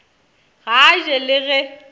ga a je le ge